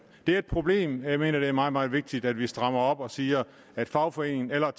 det er et problem og jeg mener at det er meget meget vigtigt at vi strammer op og siger at fagforeningen eller